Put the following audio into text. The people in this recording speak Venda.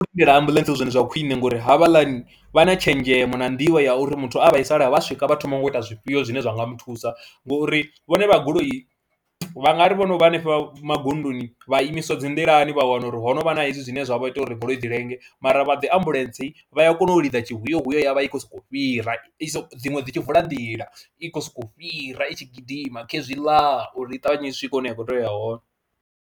Ndi vhona u lindela ambuḽentse hu zwone zwa khwine ngori havhaḽani vha na tshenzhemo na nḓivho ya uri muthu a vhaisala vha swika vha thoma ngo ita zwifhio zwine zwa nga mu thusa ngori vhone vha goloi vha nga ri vho no vha hanefha magondoni vha imiswa dzi nḓilani vha wana uri ho no vha na hezwi zwine zwa vha ita uri goloi dzi lenge mara vha dzi ambuḽentse vha ya kona u lidza tshihuyehuye ya vha i khou sokou fhira, i so dziṅwe dzi tshi vula nḓila i khou sokou fhira i tshi gidima khezwiḽa uri i ṱavhanye i swike hune ya khou tea u ya hone.